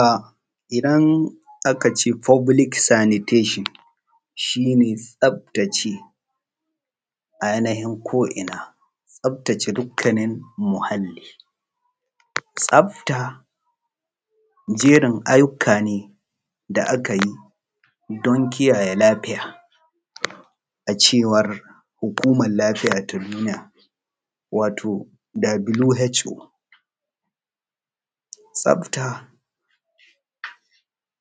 A idan akce foblik sanitashon shi ne tsaftace yanayi ko’ina taftace dukkanin muhalli, tsafta jerin ayyuka ne da aka yi don kiyaye lafiya da cewa hukumar lafiya ta duniya wato who tsafta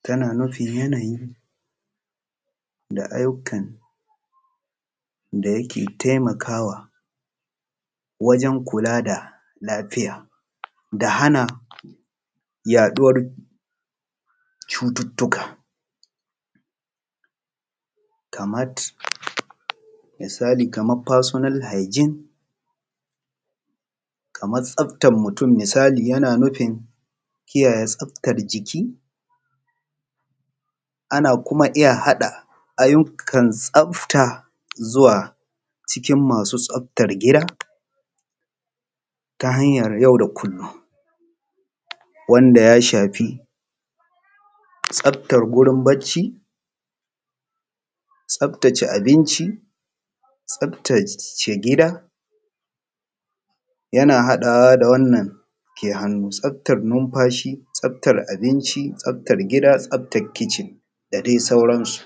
tana nufin yanayi da ayyukan da yake taimakawa wajen kula da lafiya da hana yaɗuwar cututtuka, kamat misali kamar fasinal haijin kamar tsaftar mutum misali yana nufin tsaftar jiki, ana kuma iya haɗa ayyukan tsafta zuwa cikin masu tsaftar gida ta hayar yau da kullum wanda ya shafi tsaftar wurin bacci, tsaftace abinci, tsaftace gida yana haɗawa wannan ke hannu tsaftar numfashi, tsaftar abinci, tsaftar gida, tsaftar kicin da dai sauransu.